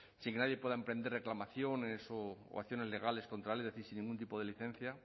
sin que nadie pueda emprender reclamaciones o acciones legales contra sin ningún tipo de licencia